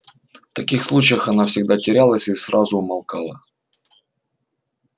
в таких случаях она всегда терялась и сразу умолкала